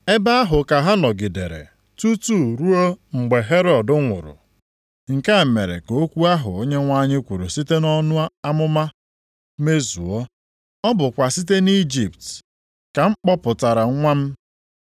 Ebe ahụ ka ha nọgidere tutu ruo mgbe Herọd nwụrụ. Nke a mere ka okwu ahụ Onyenwe anyị kwuru site nʼọnụ onye amụma mezuo. “Ọ bụkwa site nʼIjipt ka m kpọpụtara nwa m.” + 2:15 \+xt Hos 11:1\+xt*